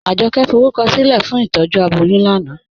Ajọkẹ̀ fọrúkọsilẹ̀ fún ìtọ́jú abọ́yún lánà